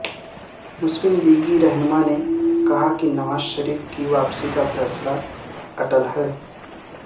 مسلم لیگی رہنما نے کہا کہ نواز شریف کی واپسی کا فیصلہ اٹل ہے